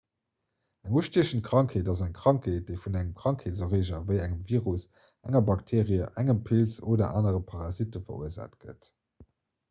eng ustiechend krankheet ass eng krankheet déi vun engem krankheetserreeger ewéi engem virus enger bakteerie engem pilz oder anere parasitte verursaacht gëtt